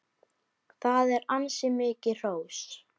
Það er ansi mikið hrós!